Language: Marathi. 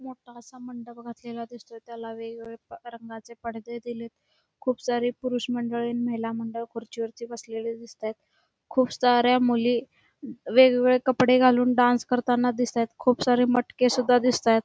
मोठासा मंडप घातलेला दिसतोय त्याला वेगवेगळ्या रंगाचे पडदे दिलेत खुप सारी पुरुष मंडळी आणि महिला मंडळ खुर्ची वर बसलेले दिसताहेत खुप साऱ्या मुली वेगवेगळे कपडे घालून डांस करताना दिसताहेत खूप सारे मटके सुद्धा दिसताहेत.